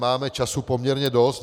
Máme času poměrně dost.